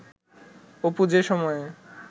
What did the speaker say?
অপু যে সময়ে